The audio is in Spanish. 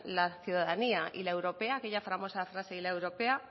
la ciudadanía y la europea aquella famosa frase y la europea